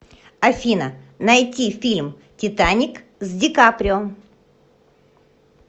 афина найти фильм титаник с ди каприо